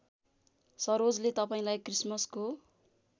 सरोजले तपाईँलाई क्रिसमसको